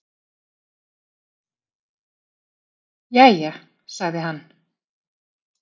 Jæja, sagði hann.